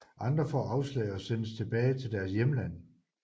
Andre får afslag og sendes tilbage til deres hjemland